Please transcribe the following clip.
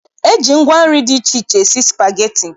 E ji ngwa nri dị iche iche esi spageti.